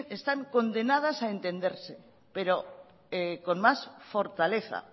están condenadas a entenderse pero con más fortaleza